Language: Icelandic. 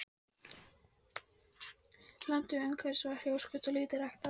Landið umhverfis var hrjóstrugt og lítt ræktað.